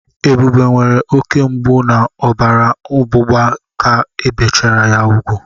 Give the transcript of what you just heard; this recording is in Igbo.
Ebube nwere oke mgbu na ọbara ọgbụgba ka ebichara ya úgwù.